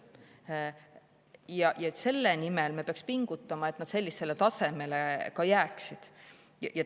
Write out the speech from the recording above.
Ja selle nimel me peaksime pingutama, et need näitajad sellisele tasemele ka jääksid.